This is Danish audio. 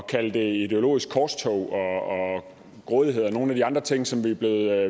kalde det et ideologisk korstog og grådighed og nogle af de andre ting som vi er